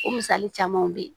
O misali camanw bɛ ye